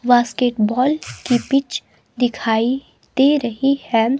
Basket ball की pitch दिखाई दे रही है.